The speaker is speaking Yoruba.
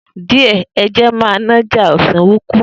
Die e je ma n'aja osiwin kui.